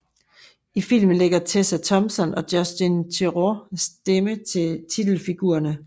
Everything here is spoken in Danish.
I filmen lægger Tessa Thompson og Justin Theroux stemmer til titelfigurerne